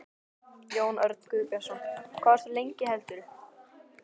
Jón Örn Guðbjartsson: Hvað varstu lengi heldurðu?